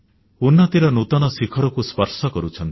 ଉନ୍ନତିର ନୂତନ ଶିଖରକୁ ସ୍ପର୍ଶ କରୁଛନ୍ତି